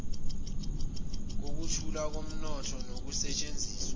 kokukhula komnotho nokusetshenziswa